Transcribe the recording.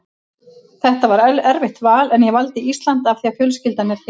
Þetta var erfitt val en ég valdi Ísland af því að fjölskyldan er héðan.